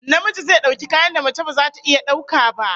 Namiji zai dauki kayan da mace baza ta iya daukar ba